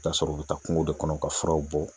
T'a sɔrɔ u bɛ taa kungo de kɔnɔ ka furaw bɔ.